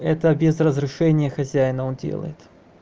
это без разрешения хозяина он делает